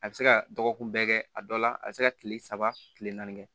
A bɛ se ka dɔgɔkun bɛɛ kɛ a dɔ la a bɛ se ka kile saba kile naani kɛ